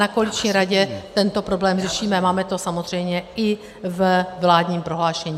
Na koaliční radě tento problém řešíme, máme to samozřejmě i ve vládním prohlášení.